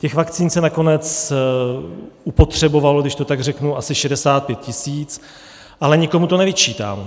Těch vakcín se nakonec upotřebovalo, když to tak řeknu, asi 65 tisíc, ale nikomu to nevyčítám.